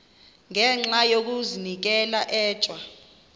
ngenxa yokazinikela etywa